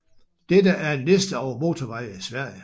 Dette er en liste over motorveje i Sverige